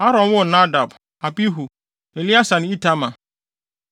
Aaron woo Nadab, Abihu, Eleasar ne Itamar.